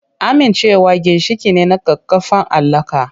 Amincewa ginshiƙi ne na ƙaƙƙarfan alaƙa.